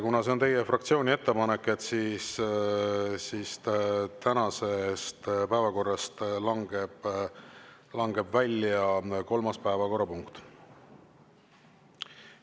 Kuna see on teie fraktsiooni ettepanek, siis tänasest päevakorrast langeb kolmas päevakorrapunkt välja.